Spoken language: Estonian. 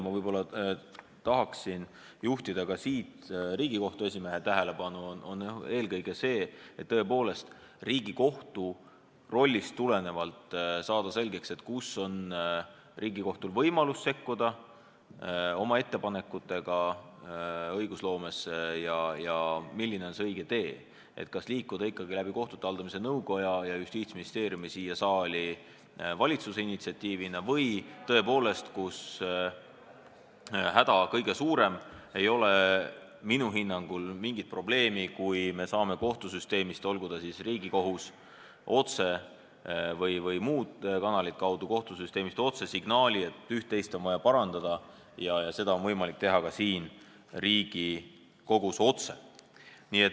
Ma tahan juhtida Riigikohtu esimehe tähelepanu eelkõige sellele, et Riigikohtu rollist tulenevalt tuleks saada selgeks, kus on Riigikohtul võimalus sekkuda oma ettepanekutega õigusloomesse ja milline on see õige tee, kas liikuda ikkagi läbi kohtute haldamise nõukoja ja Justiitsministeeriumi, tuues ettepaneku siia saali valitsuse initsiatiivina, või kui häda kõige suurem, siis ei ole minu hinnangul mingit probleemi, kui me saame kohtusüsteemist otse, olgu siis Riigikohtust või mingit muud kanalit kaudu signaali, et üht-teist on vaja parandada ja seda on võimalik teha ka otse siin Riigikogus.